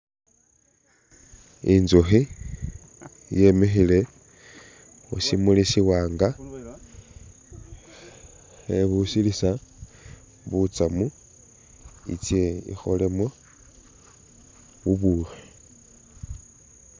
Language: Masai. Intsukhi yemikhile khusimuli si'wanga khebusilisa butsamu itse ikholemu bubukhi